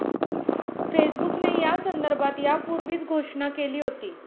फेसबुकने यासंदर्भात यापूर्वीच घोषणा केली होती.